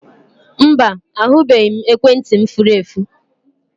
Mba, ahụbeghị m ekwentị m furu efu